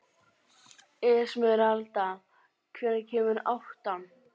Esmeralda, hvenær kemur áttan?